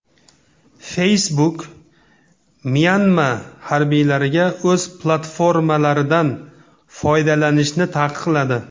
Facebook Myanma harbiylariga o‘z platformalaridan foydalanishni taqiqladi.